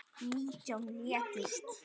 Nítján létust.